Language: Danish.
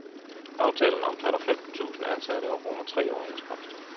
Aftalen omfatter femten tusind ansatte og rummer tre overenskomster.